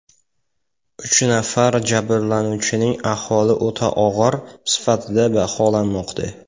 Uch nafar jabrlanuvchining ahvoli o‘ta og‘ir sifatida baholanmoqda.